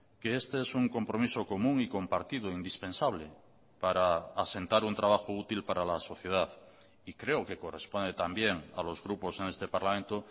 que este es un compromiso común y compartido indispensable para asentar un trabajo útil para la sociedad y creo que corresponde también a los grupos en este parlamento